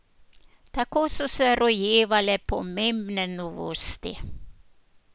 Tako so se rojevale pomembne novosti.